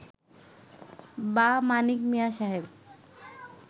বা মানিক মিয়া সাহেব